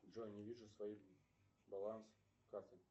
джой не вижу свой баланс карты